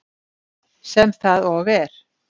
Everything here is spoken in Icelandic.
Sem það og er.